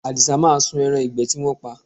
Àdìsá máa sun ẹran ìgbẹ́ tí wọ́n pa